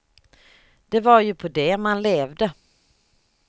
Det var ju på det man levde.